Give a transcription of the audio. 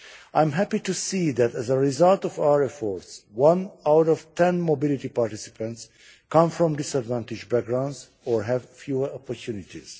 I am happy to see that as a result of our efforts, one out of ten mobility participants come from disadvantaged backgrounds or have fewer opportunities.